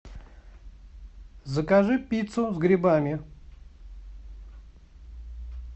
закажи пиццу с грибами